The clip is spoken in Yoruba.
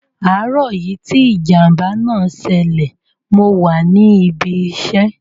Àárọ̀ yìí tí ìjàm̀bá náà ṣẹlẹ̀ mo wà ní ibi iṣẹ́.